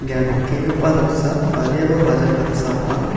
ia nikenggipa noksa badiaba bajar damsa ong·a.